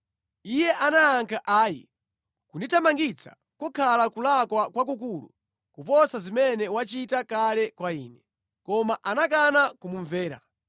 Iye anayankha, “Ayi! Kundithamangitsa kukhala kulakwa kwakukulu kuposa zimene wachita kale kwa ine.” Koma anakana kumumvera.